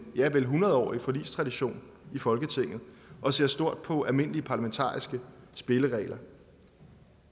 ja hundrede årig forligstradition i folketinget og ser stort på almindelige parlamentariske spilleregler